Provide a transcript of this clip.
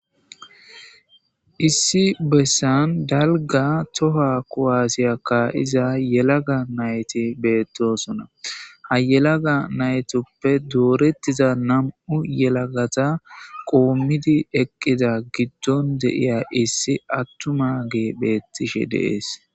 Issi bessan dalgga thohuwaa kuwaasiya kaa7iza yelaga na7thi beeththoosona;ha yelaga na7ithuppe dooreththiza nam7u yelagatha qoommidi eqqida giddon de7iya issi aththumaagee beeththishe de7ees.